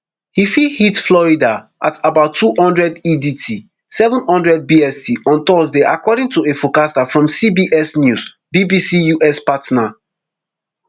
e fit hit florida at about two hundred edt seven hundred bst on thursday according to a forecaster from cbs news bbc us partner